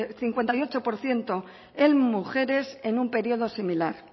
cincuenta y ocho por ciento en mujeres en un periodo similar